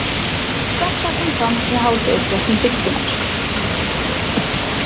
Þetta kom fram í hádegisfréttum Bylgjunnar